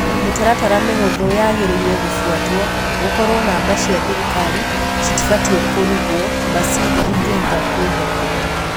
Mitaratara mihuthũ niyagiriire gũfuatwo:ũkorwo namba cia thirikari citibatie kũrũgwo, basi ndigihota kuihokwo